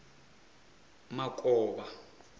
makovha